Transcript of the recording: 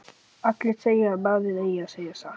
Allir segja að maður eigi að segja satt.